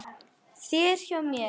þér hér hjá mér